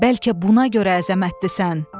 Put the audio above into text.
Bəlkə buna görə əzəmətlisən.